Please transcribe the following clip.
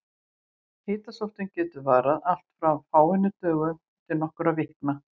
Hitasóttin getur varað allt frá fáeinum dögum til nokkurra vikna.